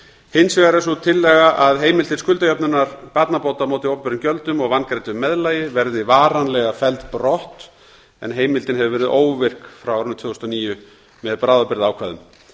hins vegar er sú tillaga að heimild til skuldajöfnunar barnabóta á móti opinberum gjöldum og vangreiddu meðlagi verði varanlega felld brott en heimildin hefur verið óvirk frá árinu tvö þúsund og níu með bráðabirgðaákvæðum